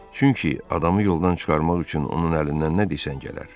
Çünki adamı yoldan çıxarmaq üçün onun əlindən nə desən gələr.